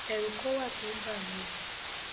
ẹrù kan wà tó ń bà mí o